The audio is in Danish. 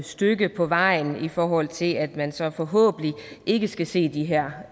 stykke på vejen i forhold til at man så forhåbentlig ikke skal se de her